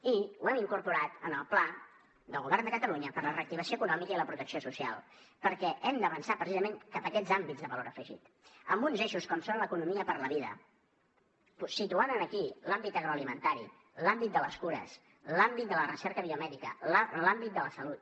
i ho hem incorporat en el pla del govern de catalunya per a la reactivació econòmica i la protecció social perquè hem d’avançar precisament cap a aquests àmbits de valor afegit amb uns eixos com són l’economia per a la vida i situar aquí l’àmbit agroalimentari l’àmbit de les cures l’àmbit de la recerca biomèdica l’àmbit de la salut